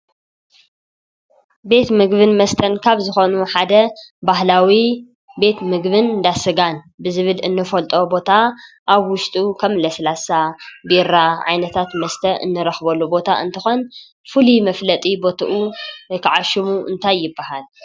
ቤት ምግብን መስተን ካብ ዝኾኑ ሓደ ባህላዊ ቤት ምግቢን እንዳስጋን ብዝብል እንፈልጦ ቦታ ኣብ ውሽጡ ከም ለስላሳ፣ ቢራ ዓይነታት መስተ እንረኽበሉ ቦታ እንትኾን ፍሉይ መፍለጢ ቦትኡ ወይኸዓ ሽሙ እንታይ ይባሃል?